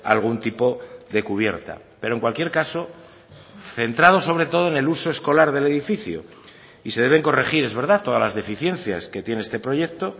algún tipo de cubierta pero en cualquier caso centrado sobre todo en el uso escolar del edificio y se deben corregir es verdad todas las deficiencias que tiene este proyecto